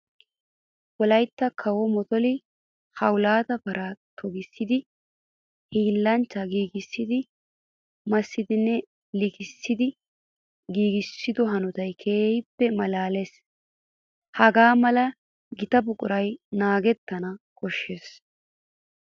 Wolaytta kawuwa motolome hawulttiya para toggissiddi hiillanchchay giigissiddi massidinne likkiddi giiggisiddo hanotay keehippe malaalisees. Haga mala gita buquray naagetanna koshees.